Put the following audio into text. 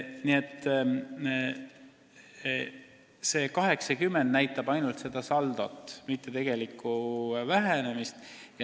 Arv 80 näitab ainult saldot, mitte tegelikku vähenemist.